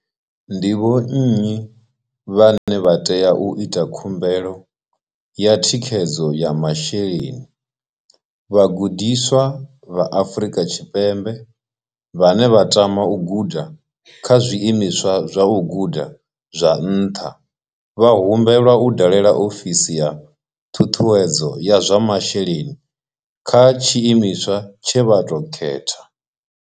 Ndi vhonnyi vhane vha tea u ita khumbelo ya thikhedzo ya masheleni vhagudiswa vha Afrika Tshipembe vhane vha tama u guda kha zwiimiswa zwa u guda zwa nṱha vha humbelwa u dalela ofsi ya ṱhusedzo ya zwa masheleni kha tshiimiswa tshe vha tou khetha.